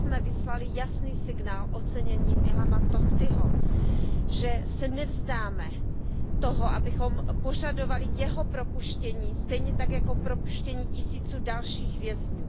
Dnes jsme vyslali jasný signál oceněním Ilhamovi Tochtimu, že se nevzdáme toho, abychom požadovali jeho propuštění stejně tak jako propuštění tisíců dalších vězňů.